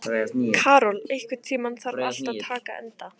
Karol, einhvern tímann þarf allt að taka enda.